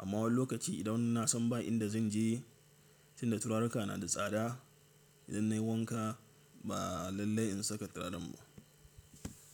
Amma wani lokaci idan nasan ba inda zan je, tunda turaruka na da tsada, idan nayi wanka ba lallai in saka turaren ba.